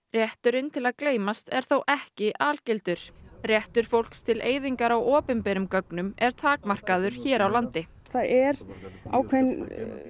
rétturinn til að gleymast er þó ekki algildur réttur fólks til eyðingar á opinberum gögnum er takmarkaður hér á landi það er ákveðin